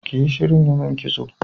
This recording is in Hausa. Kiyi shirin yimin kitso